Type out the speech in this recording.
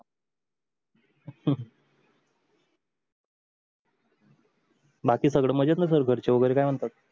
बाकी सगळ मजेत न सर घरचे वगेरे काय म्हणतात